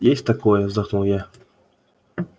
есть такое вздохнул я